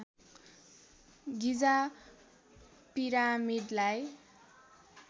गिजा पिरामिडलाई